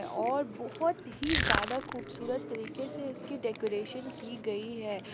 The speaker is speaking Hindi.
और बहुत ही ज्यादा खूब सूरत तरीके से इसकी डेकोरेशन की गयी है।